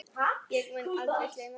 Ég mun aldrei gleyma þessu.